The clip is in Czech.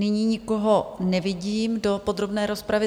Nyní nikoho nevidím do podrobné rozpravy.